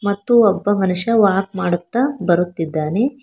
ಮತ್ತು ಒಬ್ಬ ಮನುಷ್ಯ ವಾಕ್ ಮಾಡುತ್ತಾ ಬರುತ್ತಿದ್ದಾನೆ.